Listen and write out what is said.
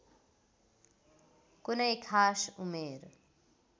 कुनै खास उमेर